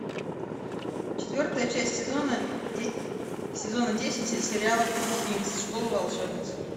четвертая часть сезона десять сериала клуб винкс школа волшебниц